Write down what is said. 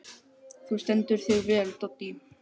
Þú stendur þig vel, Doddý!